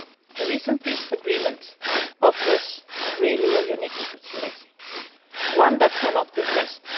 The recent peace agreement offers a really unique opportunity, one that cannot be missed.